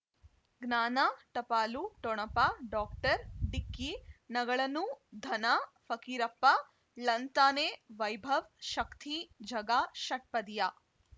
ಜ್ಞಾನ ಟಪಾಲು ಠೊಣಪ ಡಾಕ್ಟರ್ ಢಿಕ್ಕಿ ಣಗಳನು ಧನ ಫಕೀರಪ್ಪ ಳಂತಾನೆ ವೈಭವ್ ಶಕ್ತಿ ಝಗಾ ಷಟ್ಪದಿಯ